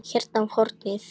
Hérna á hornið.